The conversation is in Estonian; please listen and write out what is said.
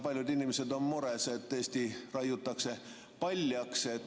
Paljud inimesed on mures, et Eesti raiutakse paljaks.